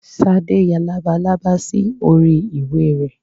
Sade ya lábàlábà sí orí ìwé rẹ̀.